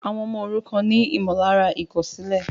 Àwọn ọmọ òrukàn ni ìmọ̀lára ìkòsílè